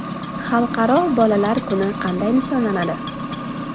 Xalqaro bolalar kuni qanday nishonlanadi?